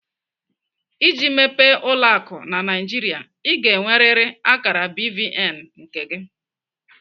Iji mepee ụlọ akụ na Naijiria, Ị ga-enweriri akara BVN nke gị.